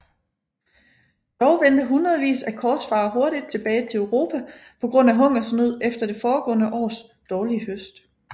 Dog vendte hundredvis af korsfarere hurtigt tilbage til Europa på grund af hungersnød efter det foregående års dårlige høst